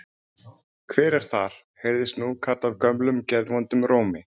Hver er þar? heyrðist nú kallað gömlum geðvondum rómi.